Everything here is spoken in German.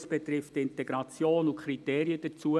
Es betrifft die Integration und die Kriterien dazu.